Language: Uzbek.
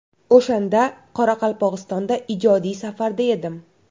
O‘shanda Qoraqalpog‘istonda ijodiy safarda edim.